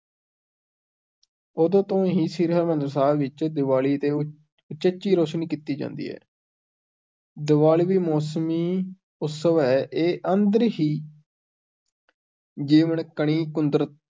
ਉਦੋਂ ਤੋਂ ਹੀ ਸ੍ਰੀ ਹਰਿਮੰਦਰ ਸਾਹਿਬ ਵਿੱਚ ਦਿਵਾਲੀ ਤੇ ਉ ਉਚੇਚੀ ਰੋਸ਼ਨੀ ਕੀਤੀ ਜਾਂਦੀ ਹੈ ਦਿਵਾਲੀ ਵੀ ਮੌਸਮੀ ਉਤਸਵ ਹੈ, ਇਹ ਅੰਦਰ ਹੀ ਜੀਵਨ-ਕਣੀ ਕੁਦਰ